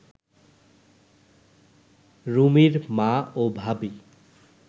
রুমির মা ও ভাবী